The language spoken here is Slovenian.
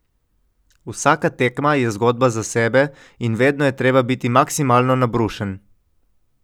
Vsaka tekma je zgodba za sebe in vedno je treba biti maksimalno nabrušen.